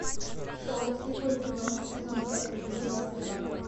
шоу слепое пятно сезон пять эпизод двадцать два